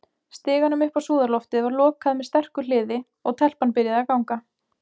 Stiganum upp á súðarloftið var lokað með sterku hliði, og- telpan byrjaði að ganga.